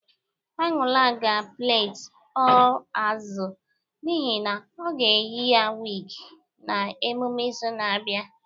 Anuli ga plait 'all azụ' n'ihi na ọ ga-eyi a wig na emume izu na-abịa